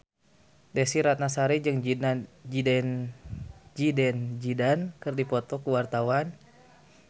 Desy Ratnasari jeung Zidane Zidane keur dipoto ku wartawan